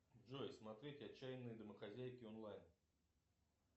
джой смотреть отчаянные домохозяйки онлайн